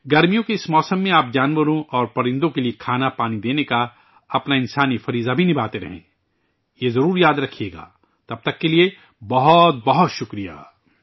گرمیوں کے اس موسم میں، آپ جانوروں اور پرندوں کے لئے کھاناپانی دینے کی اپنی انسانی ذمہ داری بھی نبھاتے رہیں یہ ضرور یاد رکھئے گا، تب تک کے لئے بہت بہت شکریہ